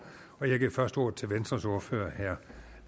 og jeg giver først ordet til venstres ordfører herre